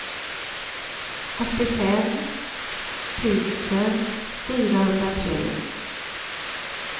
åttiofem tusen fyrahundratre